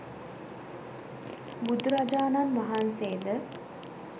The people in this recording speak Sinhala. බුදුරජාණන් වහන්සේ ද